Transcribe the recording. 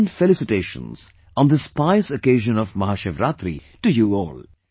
I extend felicitations on this pious occasion of Mahashivratri to you all